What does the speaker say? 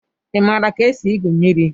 Ị maara ka esi igwu mmiri?